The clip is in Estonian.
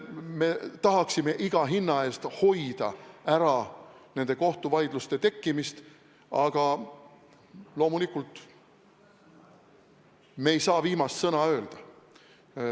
Me tahaksime iga hinna eest neid kohtuvaidlusi ära hoida, aga loomulikult me ei saa viimast sõna öelda.